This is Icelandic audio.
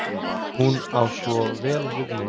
Hún á svo vel við mig.